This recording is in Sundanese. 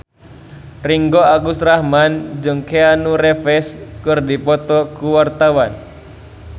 Ringgo Agus Rahman jeung Keanu Reeves keur dipoto ku wartawan